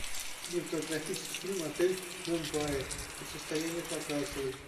кинематографический фильм отель мумбаи противостояние показывай